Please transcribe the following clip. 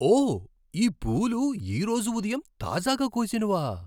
ఓ! ఈ పూలు ఈరోజు ఉదయం తాజాగా కోసినవా?